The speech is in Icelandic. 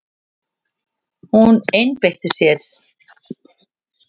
Hún einbeitti sér.